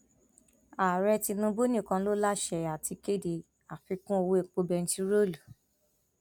ààrẹ tinubu nìkan ló láṣẹ àti kéde àfikún owó epo bẹntiróòlù